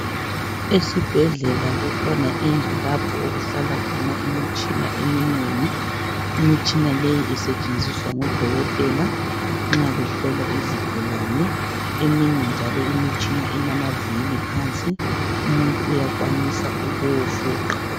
Esibhedlela kukhona indlu lapho okuhlala khona imitshina eminengi. Imitshina leyi esetshenziswa ngodokotela nxa behlola izigulane. Eminye njalo imitshina ilamavili phansi umuntu iyakwanisa ukuwufuqa.